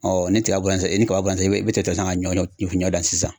ni tiga bɔra sisan ni kaba bɔratɛ i tɛgɛ la ka ɲɔ gan sisan